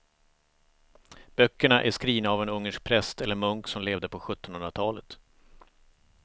Böckerna är skrivna av en ungersk präst eller munk som levde på sjuttonhundratalet.